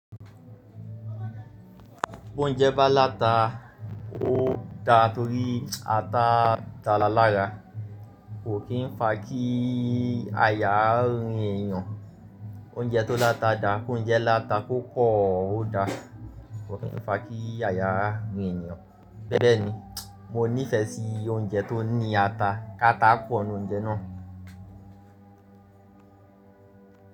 Boúnjẹ bá láta, ó da torí ata dára lára kò kí ń fa kí àyà rìn ènìyàn. Oúnjẹ tó láta da, kooúnjẹ láta kò pọ̀ ó da kò kí ń fa kí àyà rìn ènìyàn. Bẹ́ẹ̀ ni, mo nífẹ̀ẹ́ sí oúnjẹ tó ní ata, káta pọ̀ n nù oúnjẹ náà.